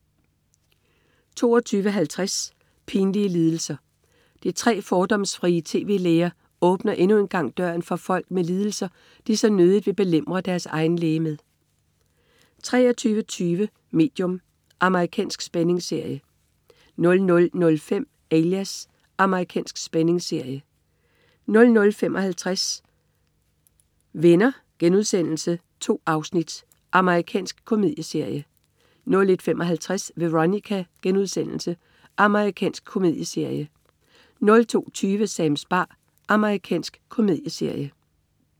22.50 Pinlige lidelser. De tre fordomsfrie tv-læger åbner endnu en gang døren for folk med lidelser, de så nødigt vil belemre deres egen læge med 23.20 Medium. Amerikansk spændingsserie 00.05 Alias. Amerikansk spændingsserie 00.55 Venner.* 2 afsnit. Amerikansk komedieserie 01.55 Veronica.* Amerikansk komedieserie 02.20 Sams bar. Amerikansk komedieserie